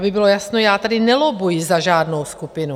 Aby bylo jasno, já tady nelobbuji za žádnou skupinu.